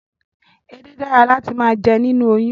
Edé dára láti máa jẹ nínú oyún